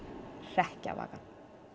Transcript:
hrekkjavaka